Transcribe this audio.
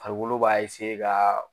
Farikolo b'a kaa